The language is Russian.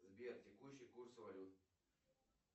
сбер текущий курс валют